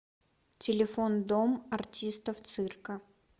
телефон дом артистов цирка